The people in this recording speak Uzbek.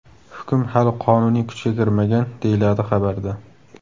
Hukm hali qonuniy kuchga kirmagan, deyiladi xabarda.